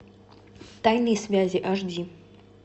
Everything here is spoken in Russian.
тайные связи аш ди